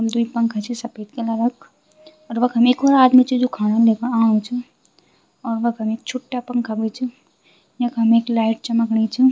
द्वि पंखा छी सपेद कलरा क अर वखम एक और आदमी च जू खाणू लेके आणू च और वखम एक छुट्टा पंखा भी च यखम एक लाइट चमकणी च।